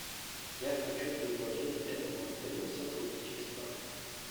я хочу предложить этому отелю сотрудничество